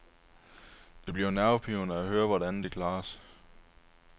Det bliver nervepirrende at høre, hvordan det klares.